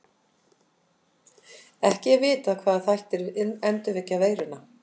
Ekki er vitað hvaða þættir endurvekja veiruna.